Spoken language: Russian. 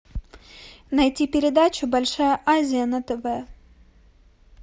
найти передачу большая азия на тв